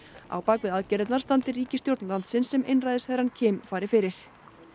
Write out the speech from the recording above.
á bak við aðgerðirnar standi ríkisstjórn landsins sem einræðisherrann fari fyrir